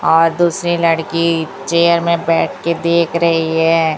और दूसरी लड़की चेयर में बैठके देख रही है।